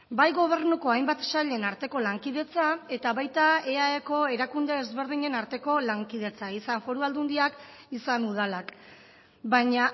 bai gobernuko hainbat sailen arteko lankidetza eta baita eaeko erakunde ezberdinen arteko lankidetza izan foru aldundiak izan udalak baina